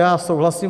Já souhlasím.